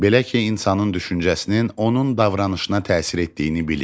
Belə ki, insanın düşüncəsinin onun davranışına təsir etdiyini bilirik.